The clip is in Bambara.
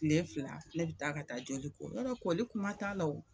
Tile fila ne bi taa ka taa joli ko, yɔrɔ koli kuma t'a la o.